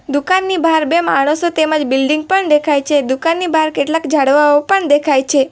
દુકાનની બહાર બે માણસો તેમજ બિલ્ડીંગ પણ દેખાય છે દુકાનની બાર કેટલાક ઝાડવાઓ પણ દેખાય છે.